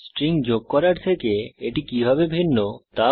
string যোগ করার থেকে এটি কিভাবে ভিন্ন তা বলুন